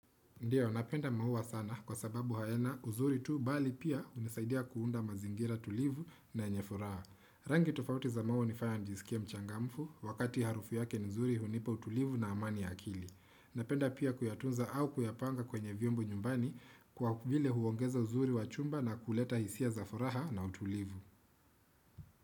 Ndiyo, napenda maua sana kwa sababu hayana uzuri tu bali pia unisaidia kuunda mazingira tulivu na yenye furaha Rangi tofauti za maua unifanya njisikie mchangamfu, wakati harufu yake nzuri hunipa utulivu na amani akili. Napenda pia kuyatunza au kuyapanga kwenye vyombo nyumbani kwa vile huongeza uzuri wachumba na kuleta hisia za furaha na utulivu.